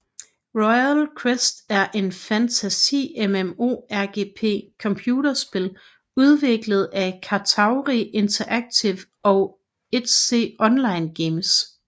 Royal Quest er et fantasi MMO RPG computerspil udviklet af Katauri Interactive og 1C Online Games